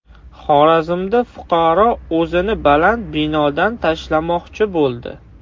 Xorazmda fuqaro o‘zini baland binodan tashlamoqchi bo‘ldi.